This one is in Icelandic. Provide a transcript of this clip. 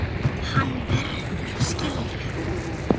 Hann verður að skilja.